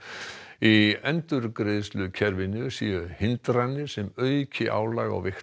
í endurgreiðslukerfinu séu hindranir sem auki álag á veikt